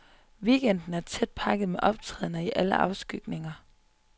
Weekenden er tæt pakket med optrædener i alle afskygninger.